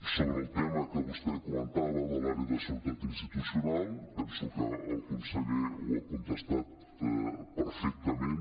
sobre el tema que vostè comentava de l’àrea de seguretat institucional penso que el conseller ho ha contestat perfectament